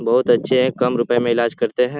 बहुत अच्छे है कम रुपए में इलाज करते हैं ।